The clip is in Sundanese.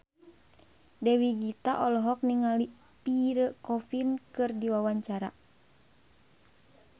Dewi Gita olohok ningali Pierre Coffin keur diwawancara